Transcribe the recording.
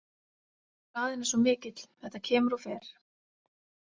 Hraðinn er svo mikill, þetta kemur og fer.